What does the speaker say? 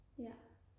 ja